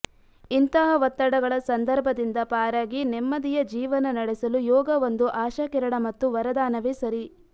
ಇಂತಹ ಒತ್ತಡಗಳ ಸಂದರ್ಭದಿಂದ ಪಾರಾಗಿ ನೆಮ್ಮದಿಯ ಜೀವನ ನಡೆಸಲು ಯೋಗವೊಂದು ಆಶಾಕಿರಣ ಮತ್ತು ವರದಾನವೇ ಸರಿ